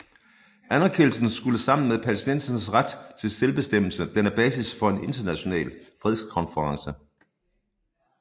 Anerkendelsen skulle sammen med palæstinensernes ret til selvbestemmelse danne basis for en international fredskonference